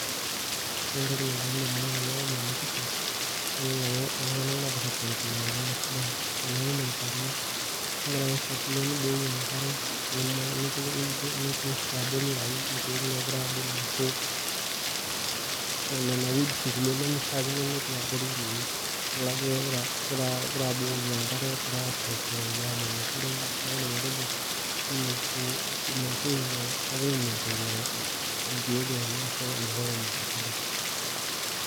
Wore entoki nalotu indamunot tenadol ena pisha, nadoolta ajo iltunganak lookira apangilia irkiek esidai. Teniun olchani, nikira ake ai fuatilia nibukoki enkare, niman nitur abori aitayu inkiek naakira aabulu ashu niana weeds kulie nemeishaakino netii abori ninye. Idol ajo ekira aabukoki enkare ekira aaturuturoki aaman esidai, neeku aidim atejo hii ni ku maintain ekira ai maintain irkiek lenye ashu environment esidai.